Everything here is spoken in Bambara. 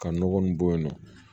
Ka nɔgɔ nin bɔ yen nɔ